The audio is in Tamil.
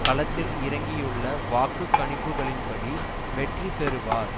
களத்தில் இறங்கியுள்ள வாக்கு கணிப்புக்களின் படி வெற்றி பெறுவார்